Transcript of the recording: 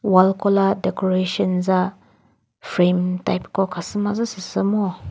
wall kola decoration za frame type ko khasü mazü sü sü ngo.